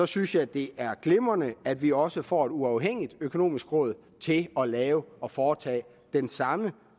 synes jeg det er glimrende at vi også får et uafhængigt økonomisk råd til at lave og foretage den samme